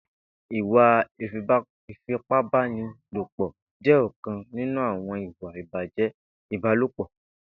Ìwà ifipábànilópọ jè ọkán ninú awọn ìwà ibájẹ́ ibàlópọ